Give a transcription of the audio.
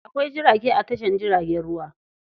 Akwai jirage a tashar jiragen ruwa.